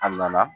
A nana